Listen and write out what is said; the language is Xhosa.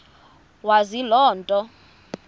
wazi loo nto